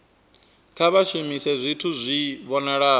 kha vha shumise zwithu zwi vhonalaho